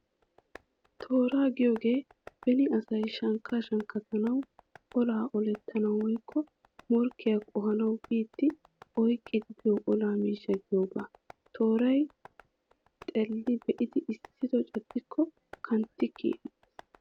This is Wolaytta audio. Tooraa giyoogee beni asay shankkaa shankkatanawu, olaa olettanawu woykko morkkiyaa qohanawu biiddi oyqqidi biyo ola miishshaa giyoogaa. Tooray xeelli be'idi issido caddikko kantti kiyees.